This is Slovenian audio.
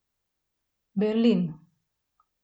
Berlin.